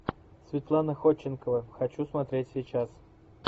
светлана ходченкова хочу смотреть сейчас